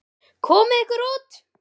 Komiði ykkur út!